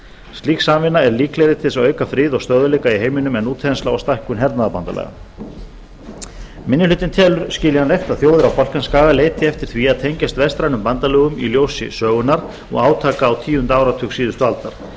slík samvinna er líklegri til þess að auka frið og stöðugleika í heiminum en útþensla og stækkun hernaðarbandalaga minni hlutinn telur skiljanlegt að þjóðir á balkanskaga leiti eftir því að tengjast vestrænum bandalögum í ljósi sögunnar og átaka á tíunda áratug síðustu aldar